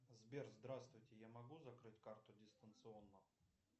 сбер здравствуйте я могу закрыть карту дистанционно